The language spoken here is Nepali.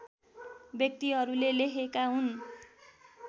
व्यक्तिहरूले लेखेका हुन्